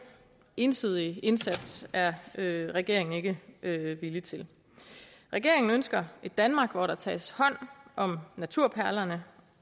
ensidige indsats er regeringen ikke villig til regeringen ønsker et danmark hvor der tages hånd om naturperlerne